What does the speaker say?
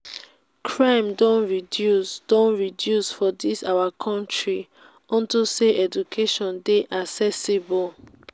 crime don reduce don reduce for dis our country unto say education dey accessible